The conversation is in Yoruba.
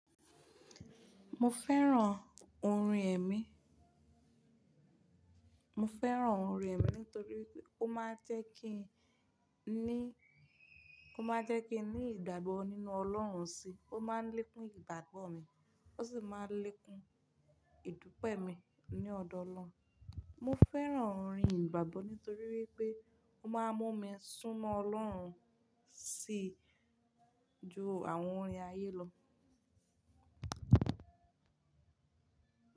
Mo fẹ́ràn orin ẹ̀mí. Mo fẹ́ràn orin ẹ̀mí nítorí pé ó máa ń jẹ́ kí i ní, ó máa ń jẹ́ kí n ní ìdàgbò nínú Ọlọ́run síi, ó máa ń lékún ìdàgbò mi, ó sì máa ń lékún ìdúpẹ́ mi ní ọ̀dọ́ Ọlọ́run. Mo fẹ́ràn orin ìgbàgbọ́ nítorí wípé ó máa ń mú mi súnmọ́ Ọlọ́run sí i ju àwọn orin ayé lọ.